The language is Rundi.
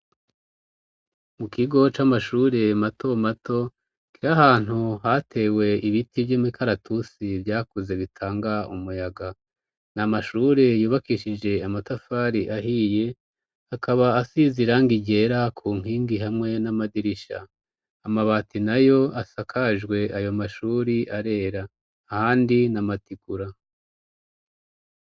Mu kigo c'amashure mato mato kiri ahantu hatewe ibiti vy'imikaratusi vyakuze bitanga umuyaga, n'amashure yubakishije amatafari ahiye akaba asize irangi ryera ku nkingi hamwe n'amadirisha, amabati nayo asakajwe ayo mashure arera, ahandi n'amatikura.